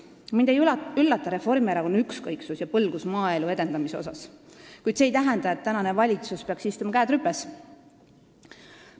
Mind ei üllata Reformierakonna ükskõiksus ja põlgus maaelu edendamise vastu, kuid see ei tähenda, et tänane valitsus peaks istuma, käed rüpes.